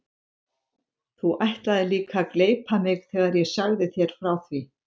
Þú ætlaðir líka að gleypa mig þegar ég sagði þér frá því.